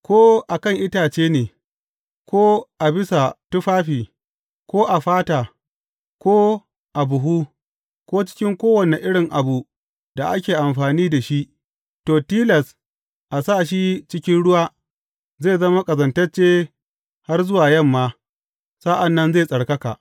Ko a kan itace ne, ko a bisa tufafi, ko a fata, ko a buhu, ko cikin kowane irin abu da ake amfani da shi, to, tilas a sa shi cikin ruwa, zai zama ƙazantacce har zuwa yamma, sa’an nan zai tsarkaka.